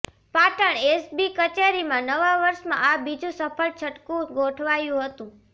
Patan SB કચેરીમાં નવા વર્ષમાં આ બીજું સફળ છટકું ગોઠવાયું હતું